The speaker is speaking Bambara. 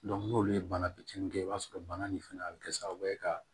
n'olu ye bana fitinin kɛ i b'a sɔrɔ bana nin fɛnɛ a bi kɛ sababu ye ka